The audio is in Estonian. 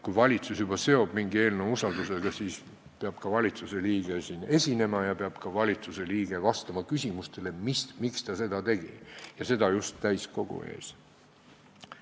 Kui valitsus juba seob mingi eelnõu usaldamisega, siis peab valitsusliige siin esinema ja peab ka vastama küsimustele, ja seda just täiskogu ees.